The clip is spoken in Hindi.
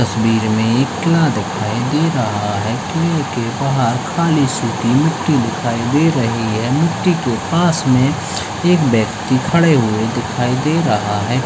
तस्वीर में एक किला दिखाई दे रहा है किले के बाहर खाली सूखी मिट्टी दिखाई दे रही है मिट्टी के पास में एक व्यक्ति खड़े हुए दिखाई दे रहा है।